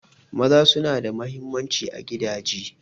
Maza suna da mahimmanci a gidaje.